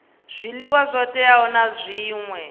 zwiḽiwa zwo teaho na zwṅwe